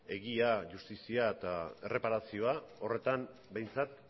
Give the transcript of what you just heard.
egia justizia eta erreparazioa horretan behintzat